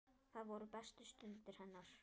Það voru bestu stundir hennar.